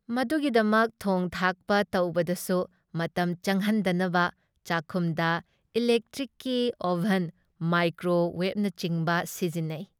ꯃꯗꯨꯒꯤꯗꯃꯛ ꯊꯣꯡ ꯊꯥꯛꯄ ꯇꯧꯕꯗꯁꯨ ꯃꯇꯝ ꯆꯪꯍꯟꯗꯅꯕ ꯆꯥꯛꯈꯨꯝꯗ ꯏꯂꯦꯛꯇ꯭ꯔꯤꯛꯀꯤ ꯑꯣꯚꯟ, ꯃꯥꯏꯀ꯭ꯔꯣ ꯋꯦꯚꯅꯆꯤꯡꯕ ꯁꯤꯖꯤꯟꯅꯩ ꯫